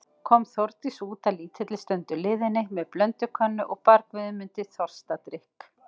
Kom Þórdís út að lítilli stundu liðinni með blöndukönnu og bar Guðmundi þorstadrykk.